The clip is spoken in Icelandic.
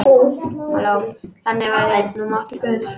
Þannig væri nú máttur guðs.